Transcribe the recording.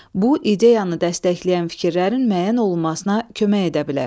Bu ideyanı dəstəkləyən fikirlərin müəyyən olunmasına kömək edə bilər.